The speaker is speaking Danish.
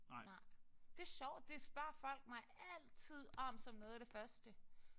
Nej. Det er sjovt det spørger folk mig altid om som noget at det første